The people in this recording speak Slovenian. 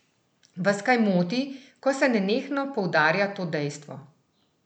Vas kaj moti, ko se nenehno poudarja to dejstvo?